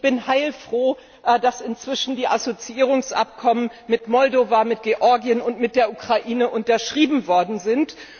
Ich bin heilfroh, dass inzwischen die Assoziierungsabkommen mit Moldau, mit Georgien und mit der Ukraine unterschrieben worden sind.